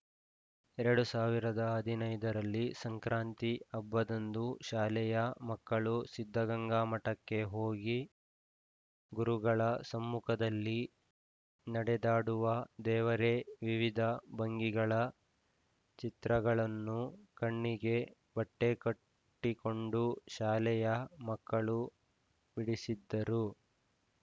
ಎರಡ್ ಸಾವಿರದ ಹದಿನೈದರಲ್ಲಿ ಸಂಕ್ರಾಂತಿ ಹಬ್ಬದಂದು ಶಾಲೆಯ ಮಕ್ಕಳು ಸಿದ್ಧಗಂಗಾ ಮಠಕ್ಕೆ ಹೋಗಿ ಗುರುಗಳ ಸಮ್ಮುಖದಲ್ಲಿ ನಡೆದಾಡುವ ದೇವರೆ ವಿವಿಧಭಂಗಿಗಳ ಚಿತ್ರಗಳನ್ನು ಕಣ್ಣಿಗೆ ಬಟ್ಟೆಕಟ್ಟಿಕೊಂಡು ಶಾಲೆಯ ಮಕ್ಕಳು ಬಿಡಿಸಿದ್ದರು